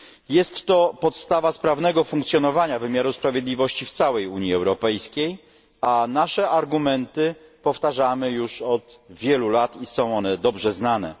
Jest to podstawa sprawnego funkcjonowania wymiaru sprawiedliwości w całej Unii Europejskiej, a nasze argumenty powtarzamy już od wielu lat i są one dobrze znane.